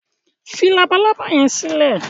fí Labalábá yén silẹ!